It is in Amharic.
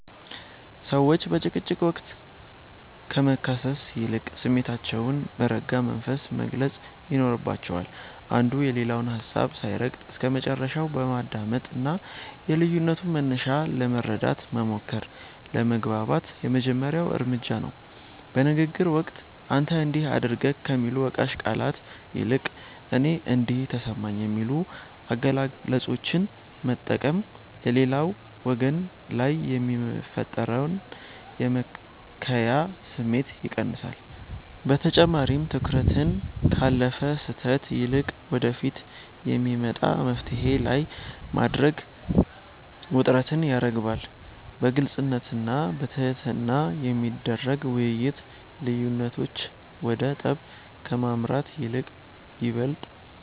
ሰዎች በጭቅጭቅ ወቅት ከመካሰስ ይልቅ ስሜታቸውን በረጋ መንፈስ መግለጽ ይኖርባቸዋል። አንዱ የሌላውን ሀሳብ ሳይረግጥ እስከመጨረሻው ማዳመጥና የልዩነቱን መነሻ ለመረዳት መሞከር ለመግባባት የመጀመሪያው እርምጃ ነው። በንግግር ወቅት "አንተ እንዲህ አደረግክ" ከሚሉ ወቃሽ ቃላት ይልቅ "እኔ እንዲህ ተሰማኝ" የሚሉ አገላለጾችን መጠቀም በሌላው ወገን ላይ የሚፈጠርን የመከላከያ ስሜት ይቀንሳል። በተጨማሪም፣ ትኩረትን ካለፈ ስህተት ይልቅ ወደፊት በሚመጣ መፍትሔ ላይ ማድረግ ውጥረትን ያረግባል። በግልጽነትና በትህትና የሚደረግ ውይይት፣ ልዩነቶች ወደ ጠብ ከማምራት ይልቅ ይበልጥ